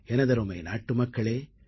எனதருமை நாட்டுமக்களே